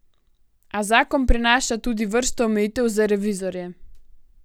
A zakon prinaša tudi vrsto omejitev za revizorje.